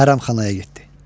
Hərəmxanaya getdi.